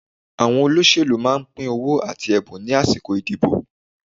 Àwọn olóṣèlú máa ń pín owó àti ẹ̀bùn ní àsìkò ìdìbò.